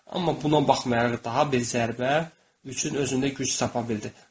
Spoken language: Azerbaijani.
Amma buna baxmayaraq daha bir zərbə üçün özündə güc tapa bildi.